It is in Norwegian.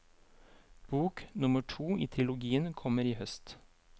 Bok nummer to i trilogien kommer i høst.